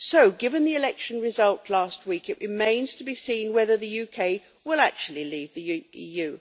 So, given the election results last week, it remains to be seen whether the UK will actually leave the EU.